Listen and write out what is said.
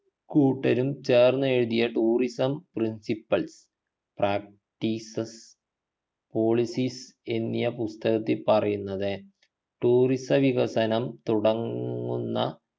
കൂട്ടരും ചേർന്നെഴുതിയ tourism principle practices policies എന്നിയ പുസ്തകത്തിൽ പറയുന്നത് tourism വികസനം തുടങ്ങുന്ന